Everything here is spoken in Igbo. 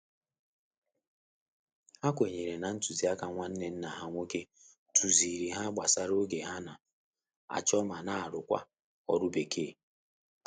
Ha kwenyere na ntuzi aka nwanne nna ha nwoke tuziri ha gbasara oge ha n', acho ma na arukwa oru bekee